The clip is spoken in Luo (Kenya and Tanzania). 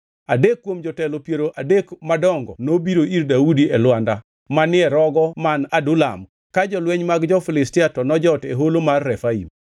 Adek kuom jotelo piero adek madongo nobiro ir Daudi e lwanda manie rogo man Adulam ka jolweny mag jo-Filistia to nojot e holo mar Refaim.